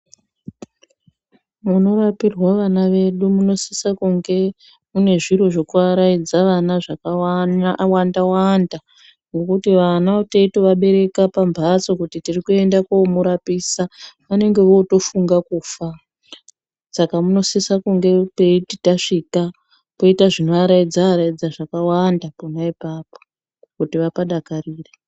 Munovakirwa vana vedu, munosise kunge kuve nezvinovaraidza vana zvakawanda wanda ,nekuti vana teyitovabereka pambatso kuti tirikuende komurapisa unenge wotofunga kufa saka munosisa kunge peyiti tasvika koita zvinoyaraidza yaraidza zvakawanda kona ipapo kuti vapadakarire.